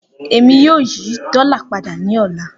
Emi yoo yi dola pada ni ọla.